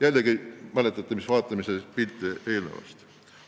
Jällegi, mäletate, mis pilti me just vaatasime?